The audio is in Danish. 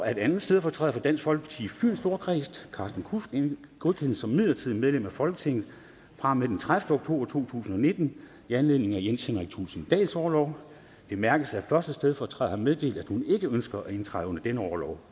at anden stedfortræder for dansk folkeparti i fyns storkreds carsten kudsk godkendes som midlertidigt medlem af folketinget fra og med den tredivete oktober to tusind og nitten i anledning af jens henrik thulesen dahls orlov det bemærkes at første stedfortræder har meddelt at hun ikke ønsker at indtræde under denne orlov